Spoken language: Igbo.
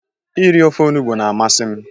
Ịri ofe ọnugbo na-amasi m